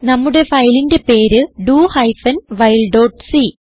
നമ്മുടെ ഫയലിന്റെ പേര് do hyphen while dot c